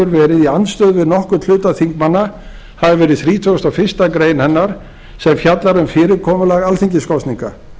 verið í andstöðu við nokkurn hluta þingmanna hafi verið þrítugasta og fyrstu grein hennar sem fjallar um fyrirkomulag alþingiskosninga